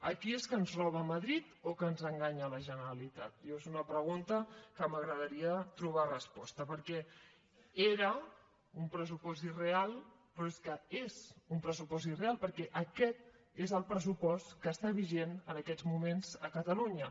aquí és que ens roba madrid o que ens enganya la generalitat jo és una pregunta a la qual m’agradaria trobar resposta perquè era un pressupost irreal però és que és un pressupost irreal perquè està vigent en aquests moments a catalunya